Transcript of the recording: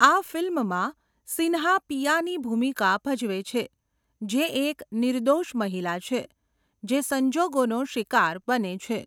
આ ફીલ્મમાં સિન્હા પિયાની ભૂમિકા ભજવે છે, જે એક નિર્દોષ મહિલા છે જે સંજોગોનો શિકાર બને છે.